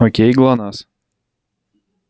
окей глонассс